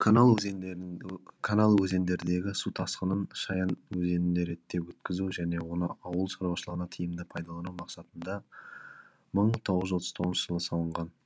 канал өзендердегі су тасқынын шаян өзеніне реттеп өткізу және оны ауыл шаруашылығына тиімді пайдалану мақсатында мың тоғыз жүз отыз тоғызыншы жылы салынған